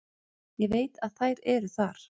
Ég veit að þær eru þar.